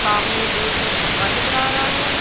सामने एक खंभा नजर आ रहा है।